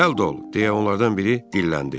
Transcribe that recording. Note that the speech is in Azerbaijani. deyə onlardan biri dilləndi.